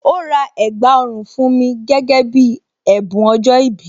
Ó rà ẹ̀gbà ọrùn fún mi gẹ́gẹ́ bí ẹ̀bùn ọjọ́ ìbí